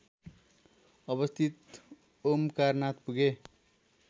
अवस्थित ओमकारनाथ पुगे